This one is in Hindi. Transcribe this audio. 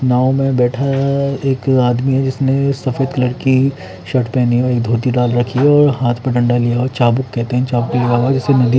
नाव में बैठा है एक आदमी जिसने सफ़ेद कलर की शर्ट पहने हुयी है धोती डाल रखी है और हाथ में डंडा लिया और चाबुक कहते है चाबुक नदी --